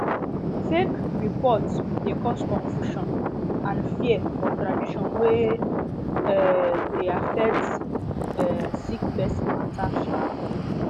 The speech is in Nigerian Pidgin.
fake report de cause confusion and fear for tradition wey um de affect um sick person matter um